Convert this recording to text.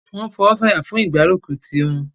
wọ́n fọwọ́sọ̀yà fún ìgbárùkùtì wọn.